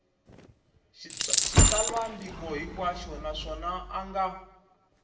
xitsalwambiko hinkwaxo naswona a nga